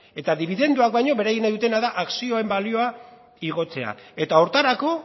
eta dibidenduak baino beraiek nahi dutena da akzioen balioa igotzea eta horretarako